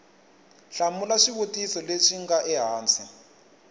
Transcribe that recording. hlamula swivutiso leswi nga ehansi